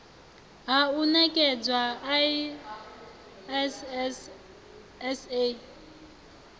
ha u ṋekedzwa iss sa